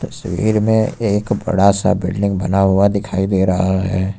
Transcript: इस भीड़ में एक बड़ा सा बिल्डिंग बना हुआ दिखाई दे रहा है।